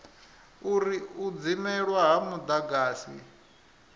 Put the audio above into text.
uri u dzimelwa ha mudagasi